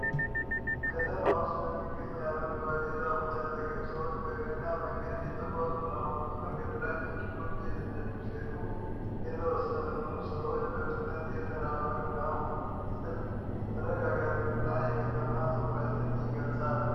ከተማ ውስጥ በሚገኝ አረንጓዴ ዛፎች አጠገብ ሰዎች በእግረኛ መንገድ እየተጓዙ ነው። በመንገዱ ላይ መኪኖች እየተነዱ ሲሄዱ፣ የተወሰኑ ሰዎች በፍጥነት እየተራመዱ ነው። ይህ ምስል መረጋጋትን እና የከተማ ትኩረትን ይገልጻል።